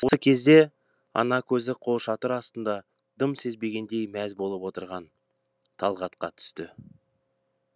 осы кезде ана көзі қолшатыр астында дым сезбегендей мәз болып отырған талғатқа түсті